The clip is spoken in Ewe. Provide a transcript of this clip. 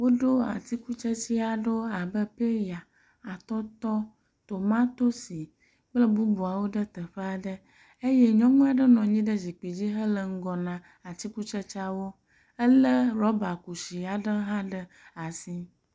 Woɖo atikutsetse aɖewo abe peya, atɔtɔ, tomatosi kple bubuawo ɖe teƒe aɖe eye nyɔnu aɖe nɔ anyi ɖe zikpui dzi hele ŋgɔ na atikutsetseawo. Elé rɔbakusi aɖe hã ɖe asi.